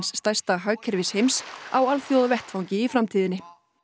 stærsta hagkerfis heims á alþjóðavettvangi í framtíðinni